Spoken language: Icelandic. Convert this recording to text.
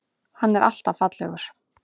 Hann er alltaf fallegur.